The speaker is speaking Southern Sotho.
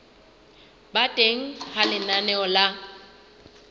ba teng ha lenaneo la